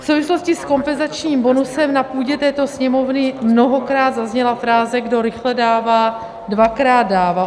V souvislosti s kompenzačním bonusem na půdě této Sněmovny mnohokrát zazněla fráze "kdo rychle dává, dvakrát dává".